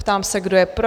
Ptám se, kdo je pro?